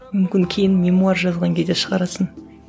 мүмкін кейін мемуар жазған кезде шығарасың